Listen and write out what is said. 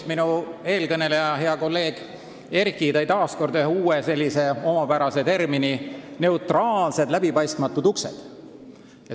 Minu eelkõneleja, hea kolleeg Erki tõi kasutusse uue ja omapärase termini "neutraalsed läbipaistmatud uksed".